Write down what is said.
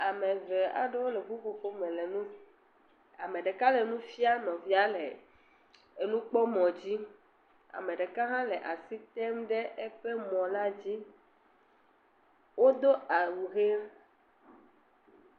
Ame eve aɖewo le ƒuƒoƒo me le nu … Ame ɖeka le nu fiam nɔvia le enukpɔmɔ dzi. Ame ɖeka hã le asi tem ɖe eƒe mɔ la dzi. Wodo awu